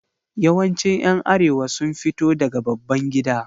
Yawancin ’yan Arewa sun fito daga babban gida.